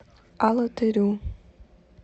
алатырю